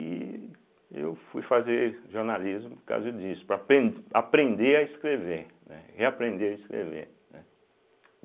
E eu fui fazer jornalismo por causa disso, para aprender a escrever, né, reaprender a escrever, né.